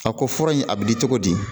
A ko fura in a bɛ di cogo di